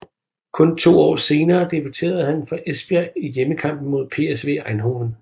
Kun to år senere debuterede han for Esbjerg i hjemmekampen mod PSV Eindhoven